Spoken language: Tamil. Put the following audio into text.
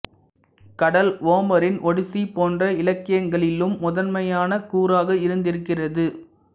கடல் ஓமரின் ஒடிசி போன்ற இலக்கியங்களிலும் முதன்மையான கூறாக இருந்திருக்கிறது